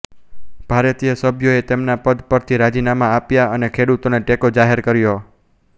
ભારતીય સભ્યોએ તેમના પદ પરથી રાજીનામા આપ્યાં અને ખેડૂતોને ટેકો જાહેર કર્યો